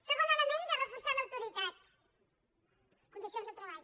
segon element de reforçar l’autoritat condicions de treball